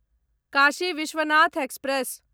Kashi Vishwanath express